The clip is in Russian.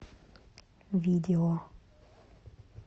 видео